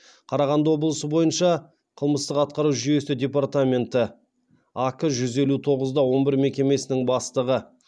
қарағанды облысы бойынша қылмыстық атқару жүйесінің департаменті ак жүз елу тоғыз да он бір мекемесінің бастығы